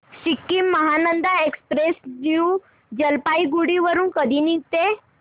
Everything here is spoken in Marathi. सिक्किम महानंदा एक्सप्रेस न्यू जलपाईगुडी वरून कधी निघते